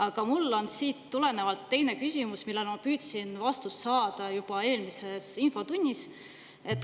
Aga mul on siit tulenevalt teine küsimus, millele ma püüdsin vastust saada juba eelmises infotunnis.